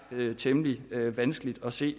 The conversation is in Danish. temmelig vanskeligt at se